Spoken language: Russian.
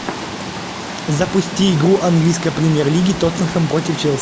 запусти игру английской премьер лиги тоттенхэм против челси